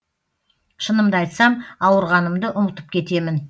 шынымды айтсам ауырғанымды ұмытып кетемін